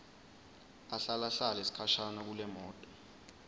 ahlalahlale sikhashana kulemoto